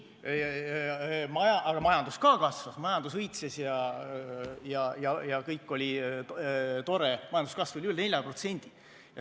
Aga ka majandus kasvas, majandus õitses ja kõik oli tore, majanduskasv oli üle 4%.